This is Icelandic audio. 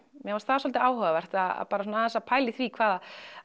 mér fannst það svolítið áhugavert að bara aðeins að pæla í því hvað